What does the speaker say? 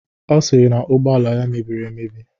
Ọ sịrị na ugbọala ya mebiri emebi